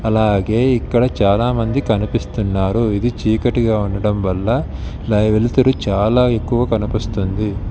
అలాగే ఇక్కడ చాలామంది కనిపిస్తున్నారు. ఇది చీకటిగా ఉండడంవల్ల ఇలా వెలుతురు చాలా ఎక్కువ కనిపిస్తుంది.